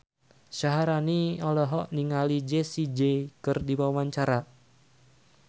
Syaharani olohok ningali Jessie J keur diwawancara